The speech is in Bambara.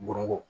Bomoko